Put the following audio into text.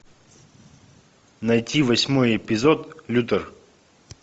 найти восьмой эпизод лютер